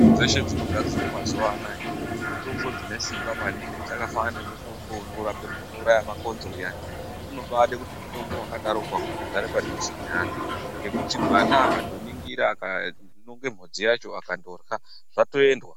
Mitombo dzese dzinogadzirwa mazuwa anawa mitombo dzine Simba maningi dzakafanana nemitombo inorapa unouraya makonzo uyani unobada kuti haudi kugara padhuze neana nekuti mwana akaningira akanhonga mhonzi yacho akatorya zvatoendwa.